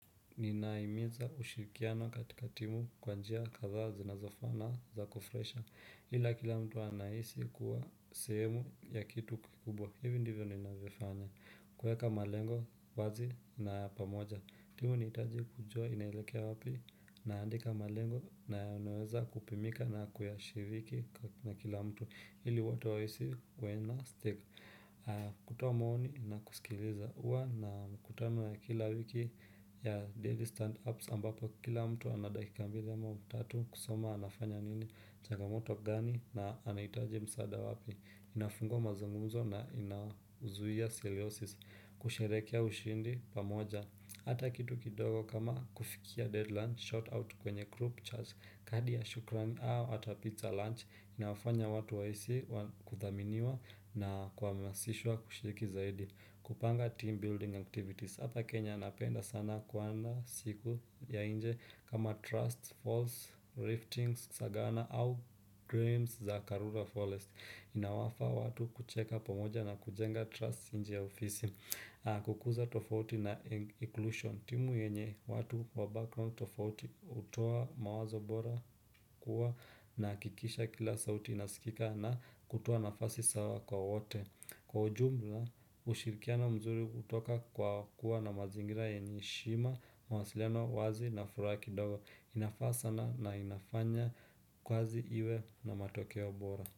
Ninahimiza kushirikiana katika timu kwa njia kadhaa zinazofana za kufresha. Hila kila mtu anahisi kuwa sehemu ya kitu kikubwa. Hivi ndivyo ninavyofanya kuweka malengo wazi na pamoja. Timu inihitaji kujua inelekea wapi naandika malengo na anaweza kupimika na kuyashiriki na kila mtu ili watu waweze kuena stick kutoa maoni na kusikiliza. Kuwa na mikutano ya kila wiki ya daily stand ups ambapo kila mtu ana dakika mbili ama tatu kusema anafanya nini changamoto gani na anahitaji msaada wapi. Inafungua mazungumzo na inauzuia seleosis kusherehekea ushindi pamoja. Hata kitu kidogo kama kufikia deadline, shout out kwenye group chats, kadi ya shukrani au hata pizza lunch inawafanya watu waweze kuthaminiwa na kuhamasishwa kushiriki zaidi. Kupanga team building activities. Hapa Kenya napenda sana kuwa na siku ya nje kama trusts, falls, riftings, sagana au dreams za Karura Forest. Inawafa watu kucheka pomoja na kujenga trusts inje ya ofisi. Kukuza tofauti na inclusion. Timu yenye watu wa background tofauti hutoa mawazo bora kuwa nahakikisha kila sauti inasikika na kutoa nafasi sawa kwa wote. Kwa ujumla, ushirikian mzuri hutoka kwa kuwa na mazingira yenye heshima, mwasiliano wazi na furaha kidogo, inafaa sana na inafanya kazi iwe na matokeo bora.